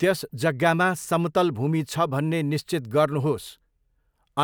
त्यस जग्गामा समतल भूमि छ भन्ने निश्चित गर्नुहोस्,